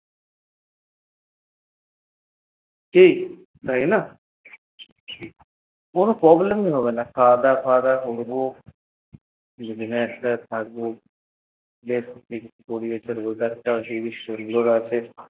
কি তাইনা! কোনো problem ই হবেনা খাবা দাওয়ার একসাথে থাকবো খাওয়া দাওয়া করব, weather টাইও সুন্দর আছে